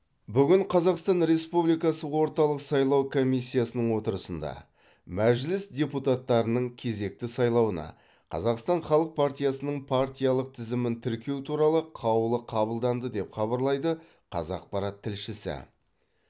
бүгін қазақстан республикасы орталық сайлау комиссиясының отырысында мәжіліс депутаттарының кезекті сайлауына қазақстан халық партиясының партиялық тізімін тіркеу туралы қаулы қабылданды деп хабарлайды қазақпарат тілшісі